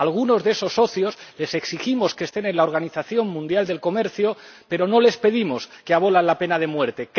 A algunos de esos socios les exigimos que estén en la Organización Mundial del Comercio, pero no les pedimos la abolición de la pena de muerte.